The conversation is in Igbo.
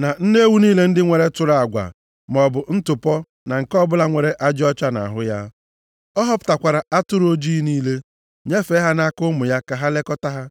na nne ewu niile ndị nwere tụrụ agwa maọbụ ntụpọ na nke ọbụla nwere ajị ọcha nʼahụ ya. Ọ họpụtakwara atụrụ ojii niile, nyefee ha nʼaka ụmụ ya ka ha lekọtaa ha.